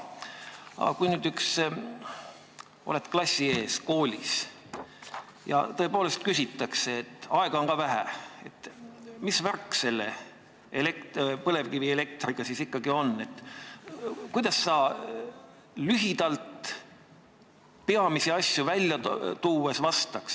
Aga kui sa oled klassi ees, aega on ka vähe ja küsitakse, et mis värk selle põlevkivielektriga siis ikkagi on, kuidas sa lühidalt peamisi asju välja tuues vastaks?